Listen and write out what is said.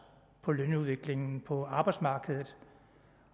på lønudviklingen på arbejdsmarkedet